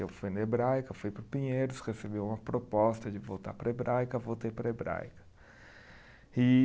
Eu fui na Hebraica, fui para o Pinheiros, recebi uma proposta de voltar para a Hebraica, voltei para a Hebraica. E